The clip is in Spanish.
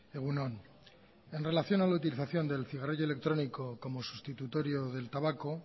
egun on en relación a la utilización del cigarrillo electrónico como sustitutorio del tabaco